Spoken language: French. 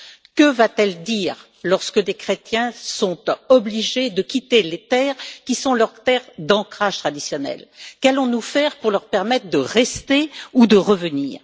Que va t elle dire alors que des chrétiens sont obligés de quitter les régions qui sont leurs terres d'ancrage traditionnel? Qu'allons nous faire pour leur permettre de rester ou de revenir?